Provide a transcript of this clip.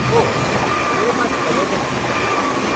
ओह, मेरे पास पर्यटक वीज़ा है।